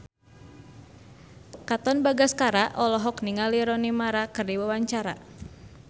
Katon Bagaskara olohok ningali Rooney Mara keur diwawancara